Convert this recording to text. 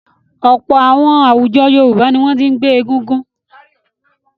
Ọ̀pọ̀ àwọn àwùjọ Yorùbá ni wọ́n ti ń gbé Egungun.